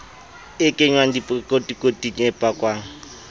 e kenngwang dikotikoting e pakwang